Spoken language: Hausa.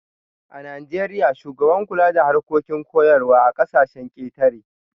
A Najeriya, shugaban kula da harkokin koyarwa a kasashen ketare